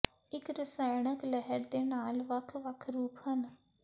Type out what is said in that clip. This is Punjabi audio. ਇੱਕ ਰਸਾਇਣਕ ਲਹਿਰ ਦੇ ਨਾਲ ਵੱਖ ਵੱਖ ਰੂਪ ਹਨ